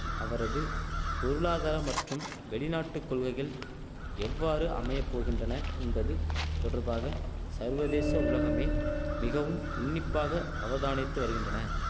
அவரது பொருளாதார மற்றும் வெளிநாட்டுக்கொள்கைகள் எவ்வாறு அமையபோகின்றன என்பது தொடர்பாக சர்வதேச உலகமே மிகவும் உன்னிப்பாக அவதானித்து வருகின்றன